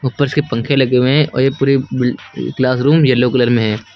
ऊपर से पंखे लगे हुए हैं और ये पूरी बिल क्लास रूम येलो कलर में हैं।